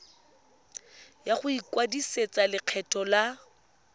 ya go ikwadisetsa lekgetho la